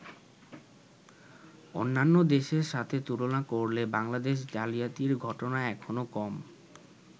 অন্যান্য দেশের সাথে তুলনা করলে বাংলাদেশে জালিয়াতির ঘটনা এখনো কম।